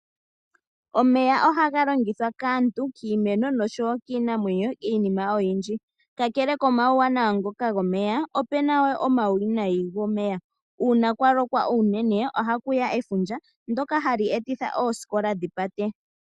Omeya ohaga longithwa kaantu, kiimeno nosho wo kiinamwenyo iinima oyindji. Kakele koma wuwanawa ngoka go meya, ope na wo oma wu winayi go meya, uuna kwa lokwa unene oha ku ya efundja ndyoka ha li etitha oosikola dhipate.